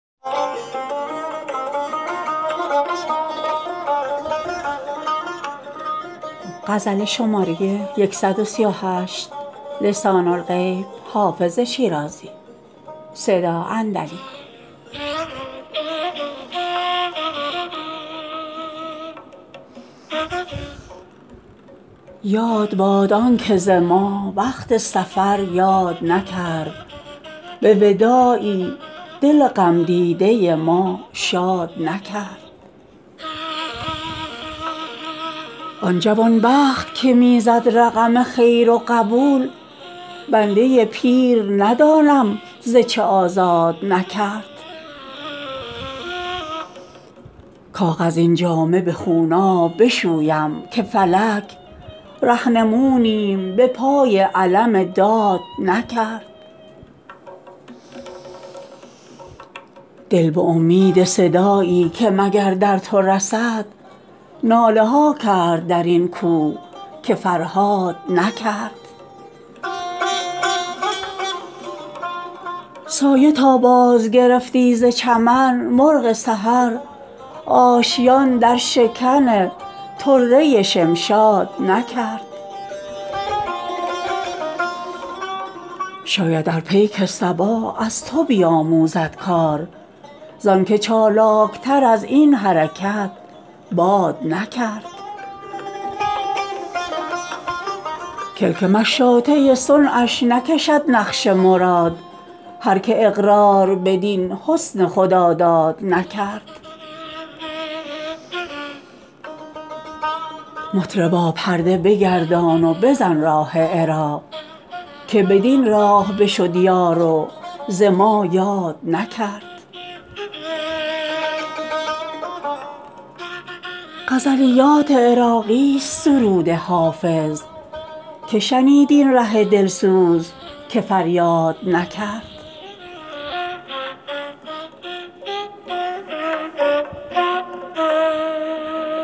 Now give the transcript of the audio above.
یاد باد آن که ز ما وقت سفر یاد نکرد به وداعی دل غم دیده ما شاد نکرد آن جوان بخت که می زد رقم خیر و قبول بنده پیر ندانم ز چه آزاد نکرد کاغذین جامه به خونآب بشویم که فلک رهنمونیم به پای علم داد نکرد دل به امید صدایی که مگر در تو رسد ناله ها کرد در این کوه که فرهاد نکرد سایه تا بازگرفتی ز چمن مرغ سحر آشیان در شکن طره شمشاد نکرد شاید ار پیک صبا از تو بیاموزد کار زآن که چالاک تر از این حرکت باد نکرد کلک مشاطه صنعش نکشد نقش مراد هر که اقرار بدین حسن خداداد نکرد مطربا پرده بگردان و بزن راه عراق که بدین راه بشد یار و ز ما یاد نکرد غزلیات عراقی ست سرود حافظ که شنید این ره دل سوز که فریاد نکرد